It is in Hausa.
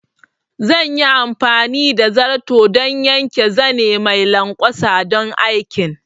Zan yi amfani da zarto don yanke zane mai lanƙwasa don aikin